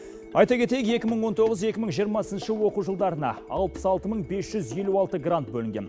айта кетейік екі мың он тоғыз екі мың жиырмасыншы оқу жылдарына алпыс алты мың бес жүз елу алты грант бөлінген